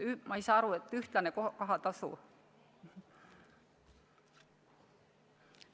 Ma ei saa aru, kellele see ühene kohatasu oleks.